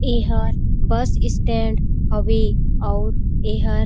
एहर bus stand हवे अऊ एहर--